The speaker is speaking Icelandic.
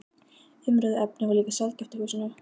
Umræðuefnið var líka sjaldgæft í húsinu.